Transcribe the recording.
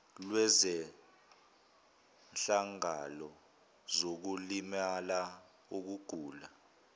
lwezehlakalo zokulimala ukugula